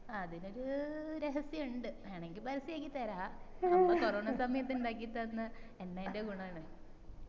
അതിനൊരു രഹസ്യം ഇണ്ട് വേണെങ്കിൽ പരസ്യാക്കി തരാ 'അമ്മ കൊറോണ സമയത് ഇണ്ടാക്കി തന്ന എണ്ണൻറെ ഗുണണ്